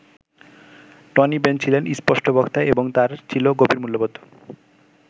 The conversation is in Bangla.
টনি বেন ছিলেন স্পষ্টবক্তা এবং তাঁর ছিল গভীর মূল্যবোধ।